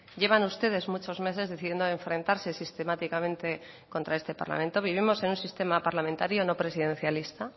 llevan ustedes muchos meses decidiendo enfrentarse sistemáticamente contra este parlamento vivimos en un sistema parlamentario no presidencialista